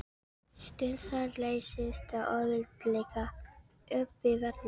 Steinsalt leysist auðveldlega upp í vatni.